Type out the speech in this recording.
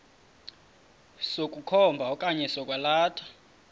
sokukhomba okanye sokwalatha